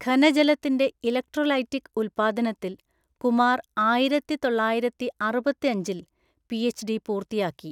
ഘനജലത്തിന്റെ electrolytic ഉൽപ്പാദനത്തിൽ കുമാർ ആയിരത്തിതൊള്ളായിരത്തിഅറുപത്തഞ്ചില്‍ PhD പൂർത്തിയാക്കി.